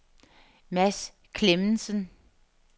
Mads Clemmensen